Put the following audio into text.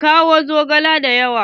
Ki kawo zogale dayawa.